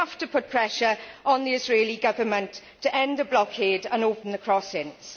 We have to put pressure on the Israeli Government to end the blockade and open the crossings.